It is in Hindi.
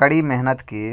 कड़ी मेहनत की